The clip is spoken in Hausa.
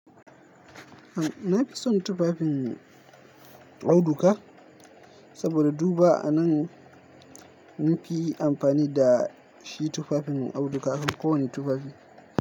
Na fi son tufafin auduga saboda duma a nan mun fi yi amfani da shi tufafin auduga akan kowane tufafi.